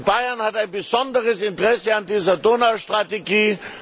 Bayern hat ein besonderes Interesse an dieser Donaustrategie.